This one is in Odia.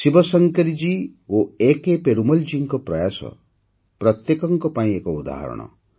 ଶିବଶଙ୍କରୀଜୀ ଓ ଏକେ ପେରୁମଲଜୀଙ୍କ ପ୍ରୟାସ ପ୍ରତ୍ୟେକଙ୍କ ପାଇଁ ଏକ ଉଦାହରଣ